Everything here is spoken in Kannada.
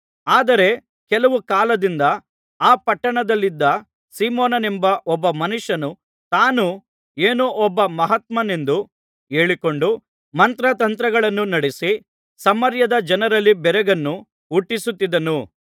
ಆದರೆ ಕೆಲವು ಕಾಲದಿಂದ ಆ ಪಟ್ಟಣದಲ್ಲಿದ್ದ ಸೀಮೋನನೆಂಬ ಒಬ್ಬ ಮನುಷ್ಯನು ತಾನು ಏನೋ ಒಬ್ಬ ಮಹಾತ್ಮನೆಂದು ಹೇಳಿಕೊಂಡು ಮಂತ್ರತಂತ್ರಗಳನ್ನು ನಡಿಸಿ ಸಮಾರ್ಯದ ಜನರಲ್ಲಿ ಬೆರಗನ್ನು ಹುಟ್ಟಿಸುತ್ತಿದ್ದನು